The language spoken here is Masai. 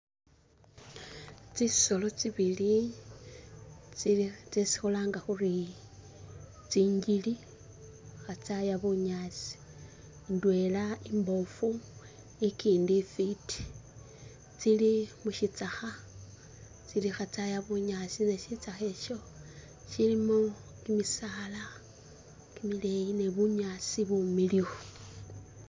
Tsisoolo tsibili tsili tsesi khulanga khuri tsingili khatsaya bunyaasi indwela imbofu ikindi ifiti tsili musitsakha khatsaya bunyaasi ne sitsakha isho silimo kimisaala kimileyi ni bunyaasi bumiliyu